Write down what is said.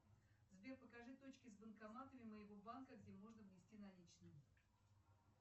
сбер покажи точки с банкоматами моего банка где можно внести наличные